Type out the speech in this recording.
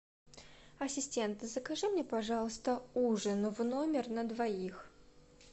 ассистент закажи мне пожалуйста ужин в номер на двоих